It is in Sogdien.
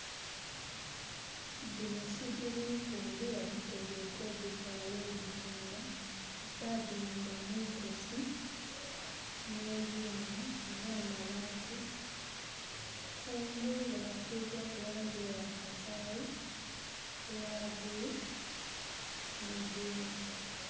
Dhino sigiri mpumbe baditegeike oditwala oditunda. Badiwumba mwitosi ne byuuma na mabaati. Kungulu basigaku langi eya kasayi, eya bulu nedindi